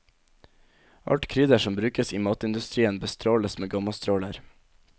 Alt krydder som brukes i matindustrien bestråles med gammastråler.